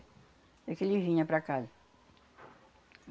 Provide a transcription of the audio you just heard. É que ele vinha para casa.